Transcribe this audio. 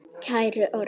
Kæri Orri.